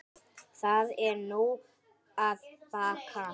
Það er nú að baki.